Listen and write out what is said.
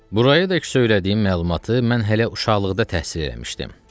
Burayadək söylədiyim məlumatı mən hələ uşaqlıqda təhsil eləmişdim.